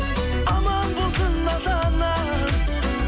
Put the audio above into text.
аман болсын ата анаң